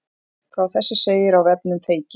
Frá þessu segir á vefnum Feyki